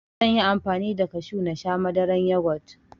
Zanyi amfani da kashu nasha Madaran yugot